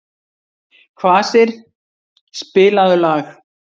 Kvasir, spilaðu lag.